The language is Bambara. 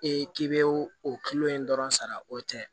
Ee k'i bɛ o kilo in dɔrɔn sara o tɛ